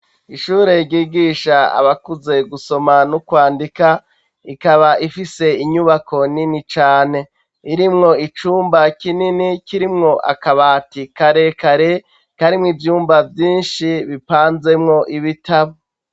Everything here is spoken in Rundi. Ishure ryigisha abakuze gusoma no kwandika, ikaba ifise inyubako nini cane, irimwo icumba kinini kirimwo akabati karekare, karimwo ivyumba vyinshi bipanzemwo ibitabo.